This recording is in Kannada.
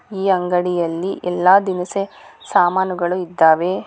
ಈ ಅಂಗಡಿಯಲ್ಲಿ ಎಲ್ಲಾ ದಿನಸಿ ಸಾಮನುಗಳು ಇದ್ದಾವೆ.